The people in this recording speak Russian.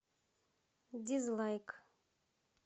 дизлайк